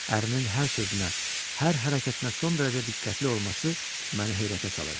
Ərinin hər sözünə, hər hərəkətinə son dərəcə diqqətli olması məni heyrətə salırdı.